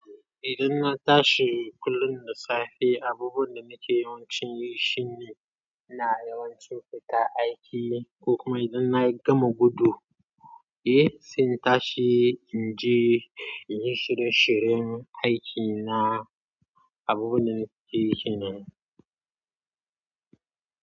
Idan na tashi kullum da safe, abubuwan da nake yawancin yi shine ina yawancin fita aiki ko kuma idan na gama gudu, eh, sai in tashi in je in yi shirye-shiryen aikina. Abubuwan da nake yi kennan.